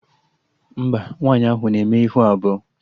Mba, nwaanyị ahụ na-eme ihu abụọ